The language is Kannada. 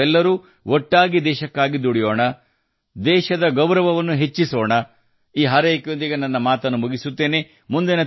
ನಾವೆಲ್ಲರೂ ಸೇರಿ ದೇಶಕ್ಕಾಗಿ ಹೀಗೆ ಕೆಲಸ ಮಾಡೋಣ ದೇಶದ ಗೌರವವನ್ನು ಹೆಚ್ಚಿಸುತ್ತಾ ಇರೋಣಈ ಹಾರೈಕೆಯೊಂದಿಗೆ ನಾನು ನನ್ನ ಮಾತನ್ನು ಮುಕ್ತಾಯಗೊಳಿಸುತ್ತೇನೆ